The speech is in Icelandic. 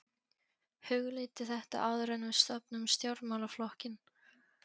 Hugleiddu þetta áður en við stofnum stjórnmálaflokkinn!